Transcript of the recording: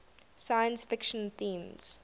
science fiction themes